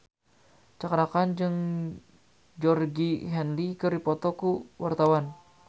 Cakra Khan jeung Georgie Henley keur dipoto ku wartawan